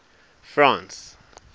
france